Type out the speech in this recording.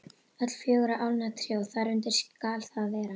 Öll fjögurra álna tré og þar undir skal það vera.